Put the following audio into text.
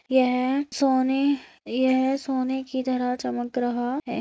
यह सोने यह सोने की तरह चमक रहा है।